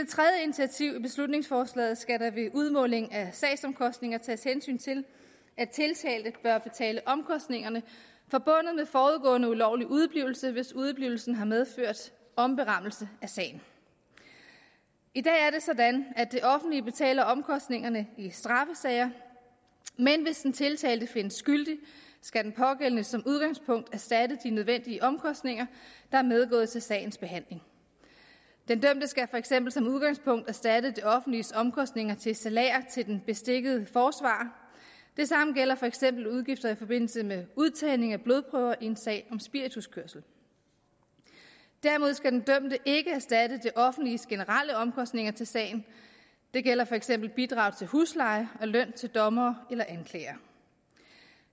initiativ i beslutningsforslaget skal der ved udmåling af sagsomkostninger tages hensyn til at tiltalte bør betale omkostningerne forbundet ulovlig udeblivelse hvis udeblivelsen har medført omberammelse af sagen i dag er det sådan at det offentlige betaler omkostningerne i straffesager men hvis den tiltalte findes skyldig skal den pågældende som udgangspunkt erstatte de nødvendige omkostninger der er medgået til sagens behandling den dømte skal for eksempel som udgangspunkt erstatte det offentliges omkostninger til salærer til den beskikkede forsvarer det samme gælder for eksempel udgifter i forbindelse med udtagning af blodprøver i en sag om spirituskørsel derimod skal den dømte ikke erstatte det offentliges generelle omkostninger til sagen det gælder for eksempel bidrag til husleje og løn til dommer eller anklager